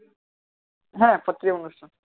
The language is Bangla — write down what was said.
হ্যাঁ প্রত্যেকদিন অনুষ্ঠান